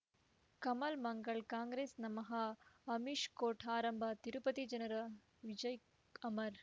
ಕಮಲ್ ಮಂಗಳ್ ಕಾಂಗ್ರೆಸ್ ನಮಃ ಅಮಿಷ್ ಕೋರ್ಟ್ ಆರಂಭ ತಿರುಪತಿ ಜನರ ವಿಜಯ ಅಮರ್